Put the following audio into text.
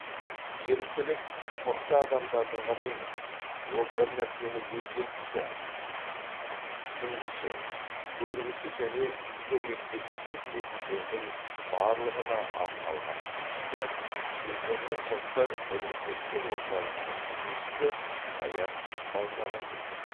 еріктілік мықты адамдардың ғана емес ол бір нәрсені өзгерткісі түсінгісі көргісі және көмектескісі келетіндердің барлығына арналған іс дейді жезқазған жастар ресурстық орталығының жетекшісі саят балмағанбетов